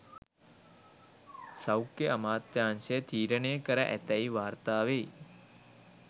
සෞඛ්‍ය අමාත්‍යාංශය තීරණය කර ඇතැයි වාර්තා වෙයි